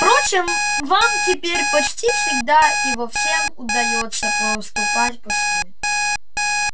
впрочем вам теперь почти всегда и во всём удаётся поступать по-своему